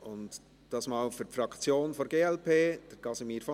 Casimir von Arx erhält diesmal für die Fraktion der glp das Wort.